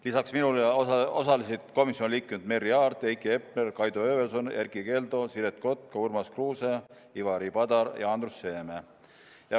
Lisaks minule osalesid komisjoni liikmed Merry Aart, Heiki Hepner, Kaido Höövelson, Erkki Keldo, Siret Kotka, Urmas Kruuse, Ivari Padar ja Andrus Seeme.